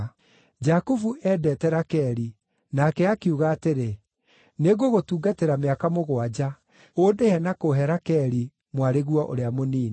Jakubu eendete Rakeli, nake akiuga atĩrĩ, “Nĩngũgũtungatĩra mĩaka mũgwanja, ũndĩhe na kũũhe Rakeli, mwarĩguo ũrĩa mũnini.”